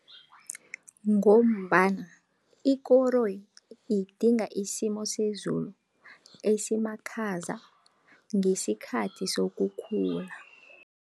Ngombana ikoroyi idinga isimo sezulu esimakhaza, ngesikhathi sokukhula.